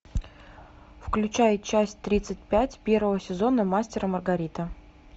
включай часть тридцать пять первого сезона мастер и маргарита